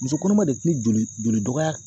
Muso kɔnɔma de kun be joli joli dɔgɔya